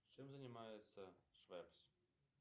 чем занимается швепс